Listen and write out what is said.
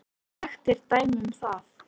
Ég get sagt þér dæmi um það.